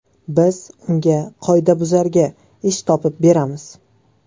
Biz unga (qoidabuzarga) ish topib beramiz.